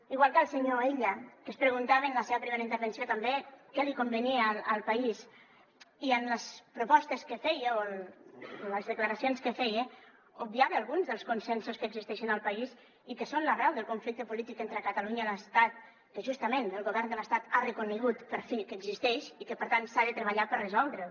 igual que el senyor illa que es preguntava en la seva primera intervenció també què li convenia al país i en les propostes que feia o en les declaracions que feia obviava alguns dels consensos que existeixen al país i que són l’arrel del conflicte polític entre catalunya i l’estat que justament el govern de l’estat ha reconegut per fi que existeix i que per tant s’ha de treballar per resoldre’l